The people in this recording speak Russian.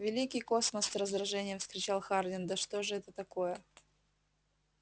великий космос с раздражением вскричал хардин да что же это такое